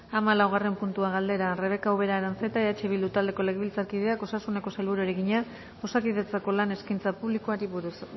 hamalaugarren puntua galdera rebeka ubera aranzeta eh bildu taldeko legebiltzarkideak osasuneko sailburuari egina osakidetzako lan eskaintza publikoari buruz